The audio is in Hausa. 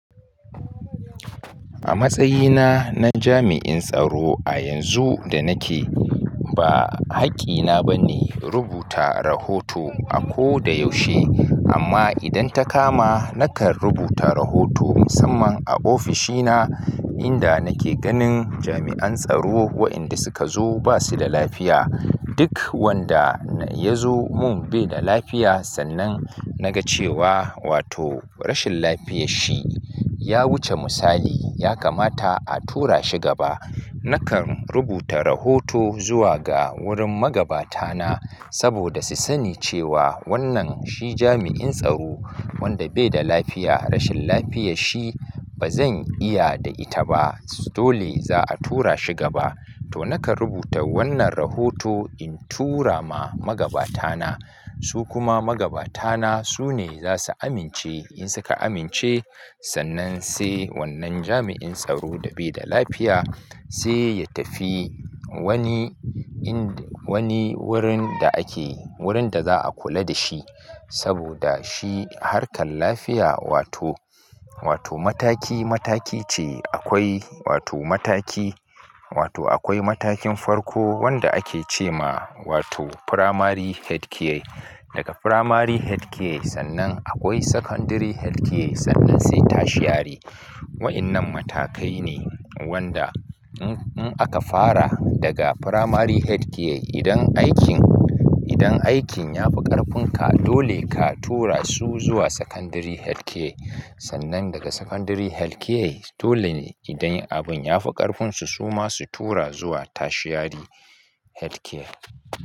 A matsayina na jami'in tsaro a yanzu da nake, ba haƙƙina ba ne rubuta rahoto a ko da yaushe. Amma idan ta kama, nakan rubuta rahoto musamman a ofishina, inda nake ganin jami'an tsaro waɗanda suka zo ba su da lafiya. Duk wanda ya zo mun bai da lafiya, sannan na ga cewa wato rashin lafiya shi ya wuce misali, ya kamata a tura shi gaba, nakan rubuta rahoto zuwa ga wurin magabata na saboda su sani cewa wannan shi jami'in tsaro wanda bai da lafiya. Rashin lafiya shi ba zan iya da ita ba. Dole za a tura shi gaba. To nakan rubuta wannan rahoto in tura ma magabata na. Su kuma magabata na su ne za su amince. In suka amince, sannan sai wannan jami'in tsaro da bai da lafiya sai ya tafi wani wurin da ake wurin da za a kula da shi saboda shi harkar lafiya wato wato mataki mataki ce. Akwai wato mataki, wato akwai matakin farko wanda ake ce ma wato Primary Healthcare. Daga Primary Healthcare sannan akwai Secondary Healthcare, sannan sai Tashiari. Waɗannan matakai ne wanda in aka fara daga Primary Healthcare, idan aikin, idan aikinya fi ƙarfinka, dole ka tura su zuwa Secondary Healthcare. Sannan daga Secondary Healthcare dole ne idan abin ya fi ƙarfinsu, su ma su tura zuwa Tashiari Healthcare.